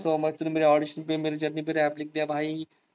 so much भाई तुने मेरे audition पे मेरे journey पे rap लिख दिया भाई